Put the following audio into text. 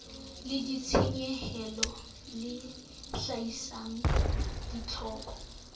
la ditshenyehelo le hlahisang ditlhoko